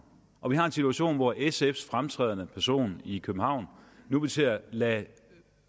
og vi har en situation hvor sfs fremtrædende person i københavn nu vil til at lade